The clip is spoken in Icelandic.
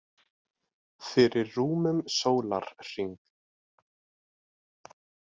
Fyrir rúmum sólarhring.